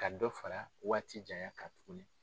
Ka dɔ fara waati janya kan tuguni.